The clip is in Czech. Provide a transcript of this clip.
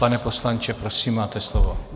Pane poslanče, prosím, máte slovo.